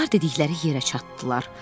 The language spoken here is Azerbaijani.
Onlar dedikləri yerə çatdılar.